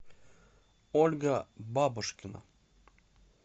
ольга бабушкина